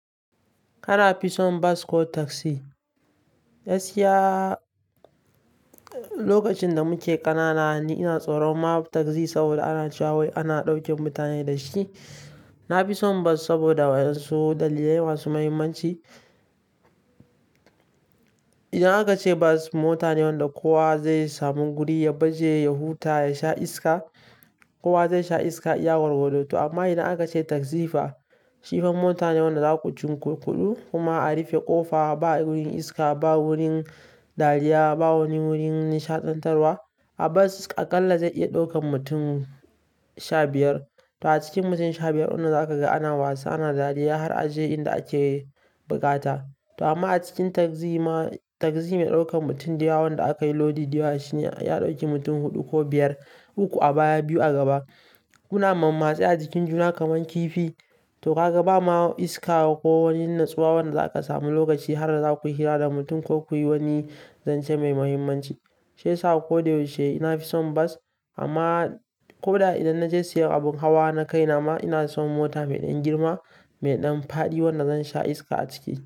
Kana fison bas ko tagzi? Gaskiya, lokacin da muke kanana ni ina tsoron ma tagzi saboda ana cewa wai ana ɗauke mutane da shi. Na fi son bas saboda wayan su dalilai masu muhimmanci. Idan aka ce bas mota ne wanda kowa zai samu guri ya baje, ya huta, ya sha iska, kowa zai sha iska iya gwargwado to amma idan aka ce tagzi fa, shi fa mota ne wanda zaƙu cun kurkuɗu kuma a rufe ƙofa ba wurin iska, ba wurin dariya, ba wani wurin nishaɗantarwa. A bas akalla zai iya ɗaukan mutum sha biyar. To a cikin mutum sha biyar wannan za ka ga ana wasa, ana dariya har a je inda ake bukata. To amma a cikin tagzi ma tagzi mai ɗaukan mutum da yawa wanda akayi lodi da yawa shi ne ya ɗauki mutum huɗu ko biyar, uku a baya biyu a gaba. Kuna mamatsi a jikin juna kaman kifi. To ka ga ba ma iska ko wani natsuwa wanda za ka samu lokaci har za ku hira da mutum ko kuyi wani zance mai muhimmanci. Shiyasa ko da yaushe ina fi son bas amma ko da idan naje siyan abun hawa na kai nama, ina son mota mai ɗan girma, mai ɗan faɗi wanda zan sha iska a ciki.